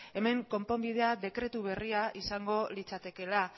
hemen konponbidea dekretu berria izango litzatekeela